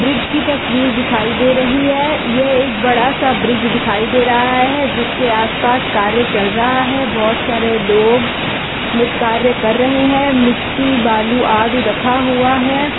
Bridge की तस्वीर दिखाई दे रही है यह एक बड़ा सा ब्रिज दिखाई दे रहा है जिसके आसपास कार्य चल रहा है बहुत सारे लोग म कार्य कर रहे है मिट्टी बालू आदि रखा हुआ है।